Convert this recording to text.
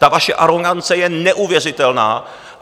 Ta vaše arogance je neuvěřitelná!